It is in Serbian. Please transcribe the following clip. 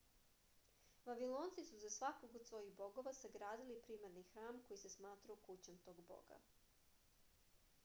vavilonci su za svakog od svojih bogova sagradili primarni hram koji se smatrao kućom tog boga